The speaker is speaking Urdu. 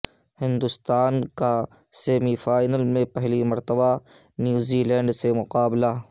ہندوستان کاسیمی فائنل میں پہلی مرتبہ نیوزی لینڈ سے مقابلہ